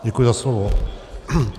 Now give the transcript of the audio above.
Děkuji za slovo.